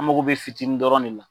An mago bɛ fitinin dɔrɔn ne la.